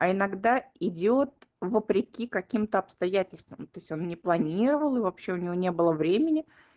а иногда идёт вопреки каким-то обстоятельствам то есть он не планировал и вообще у него не было времени